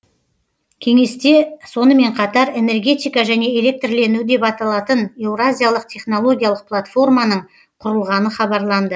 кеңесте сонымен қатар энергетика және электрлендіру деп аталатын еуразиялық технологиялық платформаның құрылғаны хабарланды